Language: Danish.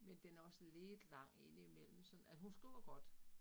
Men den er også lidt lang indimellem sådan, altså hun skriver godt